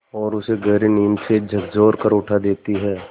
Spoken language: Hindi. और उसे गहरी नींद से झकझोर कर उठा देती हैं